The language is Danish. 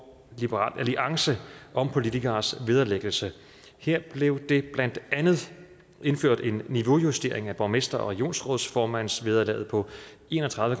liberal alliance om politikeres vederlæggelse her blev der blandt andet indført en niveaujustering af borgmester og regionsrådsformandsvederlaget på en og tredive